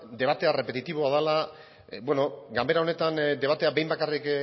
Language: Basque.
debate errepetitiboa dela bueno ganbera honetan debatea behin bakarrik